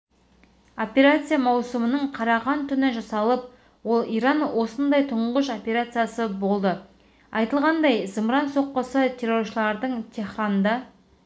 операция маусымның қараған түні жасалып ол иран осындай тұңғыш операциясы болды айтылғандай зымыран соққысы терроршылардың теһранда